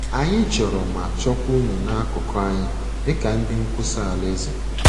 Anyị chọrọ ma chọkwa unu n’akụkụ anyị dị ka ndị nkwusa Alaeze.